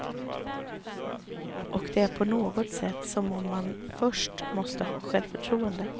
Och det är på något sätt som om man först måste ha självförtroende.